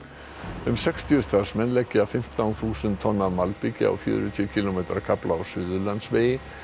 um sextíu starfsmenn leggja fimmtán þúsund tonn af malbiki á fjörutíu kílómetra kafla á Suðurlandsvegi